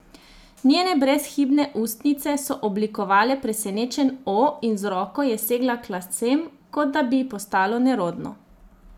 Njene brezhibne ustnice so oblikovale presenečen O in z roko je segla k lasem, kot da bi ji postalo nerodno.